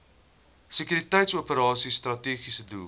sekuriteitsoperasies strategiese doel